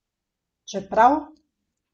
Čeprav!